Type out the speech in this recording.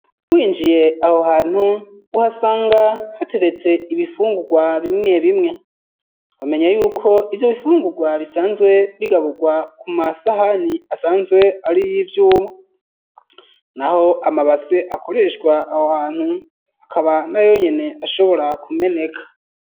Winjiye aho hantu uhasanga hateretse ibifungurwa bimwe bimwe womenya yuko ivyo bifungurwa bisanzwe bigaburwa ku masahani asanzwe ari ivyuma naho amabase akoreshwa aho hantu akaba nayo nyene ashobora kumeneka.